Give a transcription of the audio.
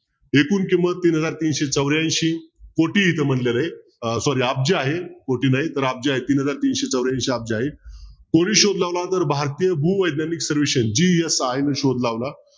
एकूण किंमत तीन हजार तीनशे चौऱ्यांशी कोटी इथे म्हटलेलं आहे अं sorry अब्ज आहे कोटी नाही तर अब्ज आहे तीन हजार तीनशे चौऱ्याऐंशी अब्ज आहेत कोणी शोध लावला तर भारतीय भूवैज्ञानिक सर्वेक्षण GSI न शोध लावला